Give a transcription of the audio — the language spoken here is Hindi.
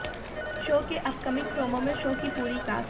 शो के अपकमिंग प्रोमो में शो की पूरी कास्ट